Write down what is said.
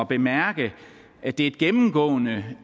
bemærke at det er gennemgående